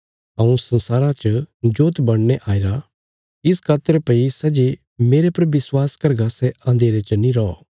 हऊँ संसारा च जोत बणीने आईरा इस खातर भई सै जे मेरे पर विश्वास करगा सै अन्धेरे च नीं रौ